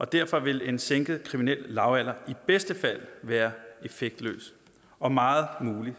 derfor vil en sænket kriminel lavalder i bedste fald være effektløs og meget muligt